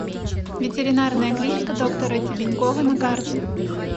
ветеринарная клиника доктора тебенькова на карте